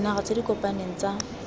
dinaga tse di kopaneng tsa